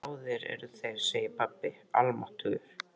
Báðir eru þeir, segir pabbi, almáttugir.